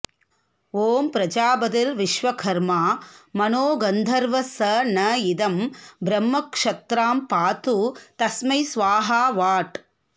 ॐ प्रजापतिर्विश्वकर्मा मनो गन्धर्वः स न इदं ब्रह्म क्षत्रां पातु तस्मै स्वाहा वाट्